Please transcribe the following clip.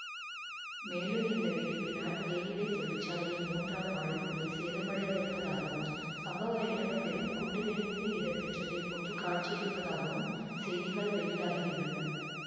மேலும் இந்த வெடிப்பினால் தேயிலை தொழிற்சாலையின் மூன்றாம் மாடிக் கூரை சேதமடைந்திருப்பதாகவும் சம்பவ இடம் பெரும் குண்டு வெடிப்பு இடம்பெற்றதைப் போன்று காட்சியளிப்பதாகவும் செய்திகள் வெளியாகியுள்ளன